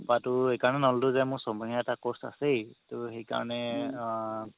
কপাৰতো এই কাৰণে নল'লো যে এটা course আছেই তৌ সেইকাৰণে আ